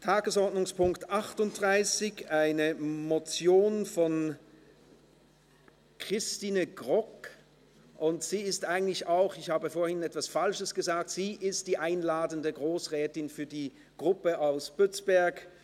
Tagesordnungspunkt 38 ist eine Motion von Christine Grogg, und sie ist auch die einladende Grossrätin für die Gruppe aus Bützberg.